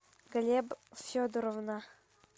глеб федоровна